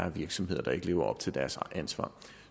virksomheder der ikke lever op til deres ansvar